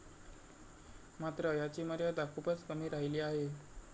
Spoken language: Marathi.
मात्र याची मर्यादा खूपच कमी राहिली आहे.